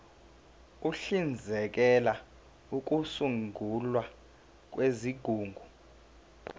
uhlinzekela ukusungulwa kwezigungu